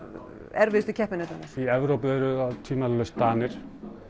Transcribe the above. erfiðustu keppinautarnir í Evrópu eru það tvímælalaust Danir